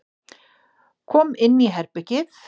Kom inn í herbergið.